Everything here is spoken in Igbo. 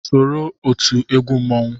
Soro otu ndị egwu mmanwụ